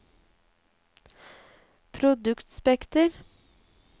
produktspekter